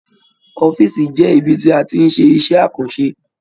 Ọ̀fiísí jẹ ibì tí a tí n ṣe iṣẹ àkànṣe.